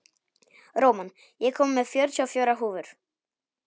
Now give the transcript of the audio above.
Róman, ég kom með fjörutíu og fjórar húfur!